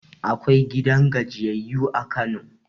Akwai gidan gajiyayyu a Kano